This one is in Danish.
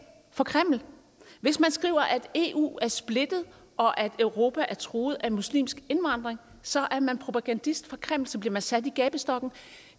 for kreml hvis man skriver at eu er splittet og at europa er truet af muslimsk indvandring så er man propagandist for kreml så bliver man sat i gabestokken